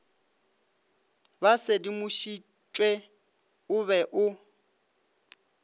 ba sedimošitšwe o be o